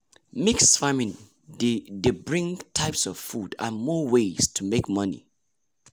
mix farming dey dey bring different types of food and more ways to make money